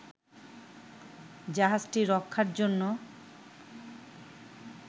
জাহাজটি রক্ষার জন্য